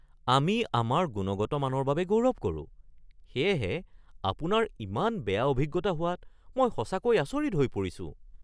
আমি আমাৰ গুণগত মানৰ বাবে গৌৰৱ কৰোঁ সেয়েহে আপোনাৰ ইমান বেয়া অভিজ্ঞতা হোৱাত মই সঁচাকৈ আচৰিত হৈ পৰিছো।